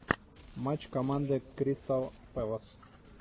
матч команды кристал пэлас